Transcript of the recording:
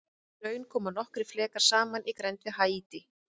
Í raun koma nokkrir flekar saman í grennd við Haítí.